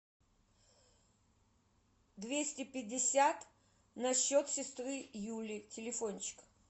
двести пятьдесят на счет сестры юли телефончик